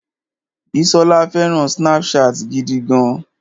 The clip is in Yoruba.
Bísọ́lá fẹràn Snapchat gidi gan.